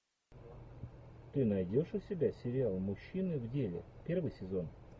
ты найдешь у себя сериал мужчины в деле первый сезон